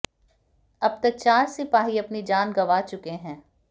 अब तक चार सिपाही अपनी जान गंवा चुके हैं